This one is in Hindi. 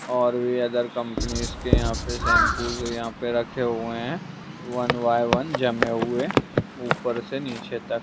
और ये अदर कंपनीस के यहाँ पे शैम्पू और यहाँ पे रखे हुए हैं वन बाय वन जमे हुए ऊपर से नीचे तक।